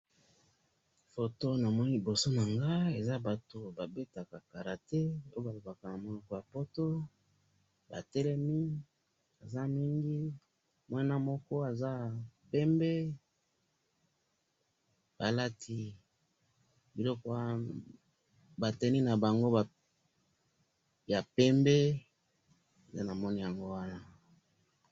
photo namoni liboso nangai, eza batu babetaka karate, pe balobaka namonoko ya poto, batelemi, baza mingi, muana moko aza pembe, balati biloko wana ba tenues na bango ya pembe, nde namoni yango wana